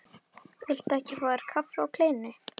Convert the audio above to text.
Viltu ekki fá þér kaffi og kleinu?